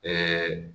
Ɛɛ